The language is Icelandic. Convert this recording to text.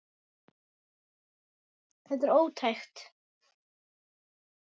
Þetta er ótækt.